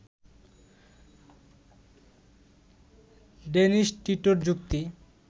Dennis টিটোর যুক্তি